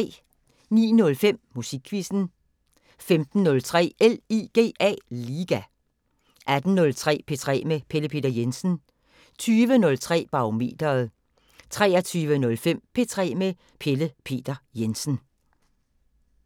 09:05: Musikquizzen 15:03: LIGA 18:03: P3 med Pelle Peter Jensen 20:03: Barometeret 23:05: P3 med Pelle Peter Jensen